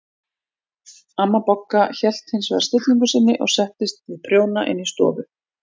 Amma Bogga hélt hins vegar stillingu sinni og settist við prjóna inn í stofu.